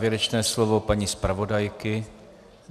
Závěrečné slovo paní zpravodajky?